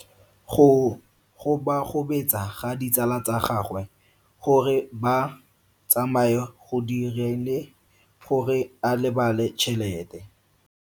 Go gobagobetsa ga ditsala tsa gagwe, gore ba tsamaye go dirile gore a lebale tšhelete.